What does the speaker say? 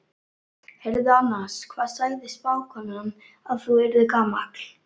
Heyrðu annars, hvað sagði spákonan að þú yrðir gamall?